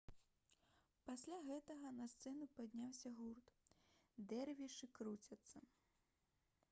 пасля гэтага на сцэну падняўся гурт «дэрвішы круцяцца»